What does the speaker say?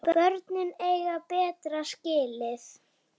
Börnin eiga betra skilið.